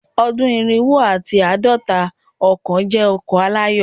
Ọdun irinwo ati aadọta ọkan jẹ ọkan alayọ